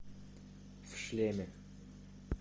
в шлеме